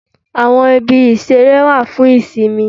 Àwọn ibi ìṣeré wà fún ìsinmi